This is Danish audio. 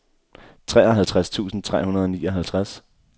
treoghalvtreds tusind tre hundrede og nioghalvtreds